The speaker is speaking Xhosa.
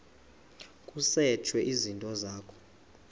kusetshwe izinto zakho